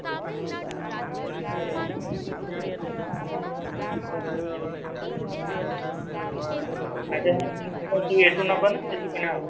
ଆଉ ସବୁ ଠୁ ନବ ନାଁ ସେଠୁ କିଣା ହବ?